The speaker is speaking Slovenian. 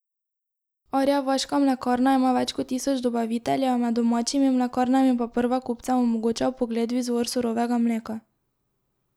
Arjevaška mlekarna ima več kot tisoč dobaviteljev, med domačimi mlekarnami pa prva kupcem omogoča vpogled v izvor surovega mleka.